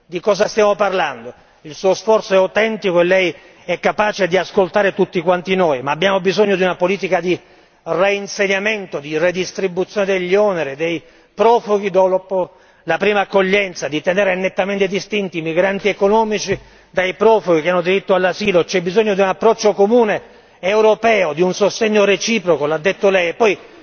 Di cosa stiamo parlando, il suo sforzo è autentico e Lei è capace di ascoltare tutti quanti noi, ma abbiamo bisogno di una politica di reinsediamento, di redistribuzione degli oneri, dei profughi dopo la prima accoglienza, di tenere nettamente distinti i migranti economici dai profughi che hanno diritto all'asilo, c'è bisogno di un approccio comune europeo, di un sostegno reciproco l'ha detto Lei. Poi,